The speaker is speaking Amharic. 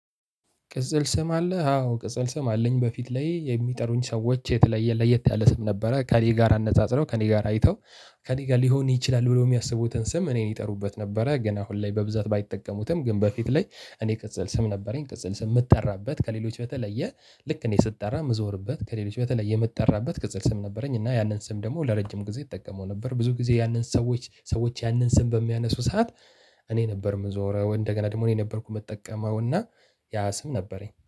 ቅጽል ስም አለህ? አዎ! ቅጽል ስም አለኝ በፊት ላይ የሚጠሩኝ ሰዎች የተለየ ለየት ያለ ስም ነበረ። ከእኔ ጋር አነጻጽረው ከእኔ ጋር አይተው ከእኔ ጋር ሊሆን ይችላል ብሎ የሚያስቡትን ስም እኔን ይጠሩበት ነበረ። ግን አሁን ላይ በብዛት ባይጠቀሙትም ግን በፊት ላይ እኔ ቅጽል ስም ነበረኝ። ቅጽል ስም የምትጠራበት ከሌሎች በተለየ ልክ እኔ ስትጠራ ምዞርበት ከሌሎች በተለየ የምትጠራበት ቅጽል ስም ነበረኝ። እና ያንን ስም ደግሞ ለረጅም ጊዜ እጠቀመው ነበር። ብዙ ጊዜ ያንን ሰዎች ያንን ስም በሚያነሱ ሰዓት እኔ ነበር የምዞረው። እንደገና ደግሞ እኔ ነበርኩ የምጠቀመው እና ያ ስም ነበረኝ።